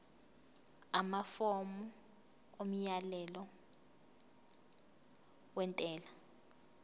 amafomu omyalelo wentela